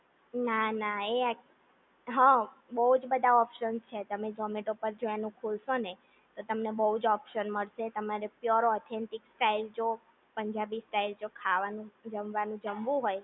ના ના એ હા બહુ બધા ઓપ્શન છે તમે ઝૉમેટો ઉપર જો એનું ખોલશો ને તો તમને બહુ જ ઓપ્શન મળશે તમારે પ્યોર ઓથેન્ટિક સ્ટાઈલ જો પંજાબી સ્ટાઇલ જો ખાવાનું જમવાનું જમવું હોય